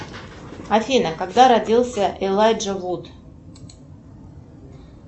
афина когда родился элайджа вуд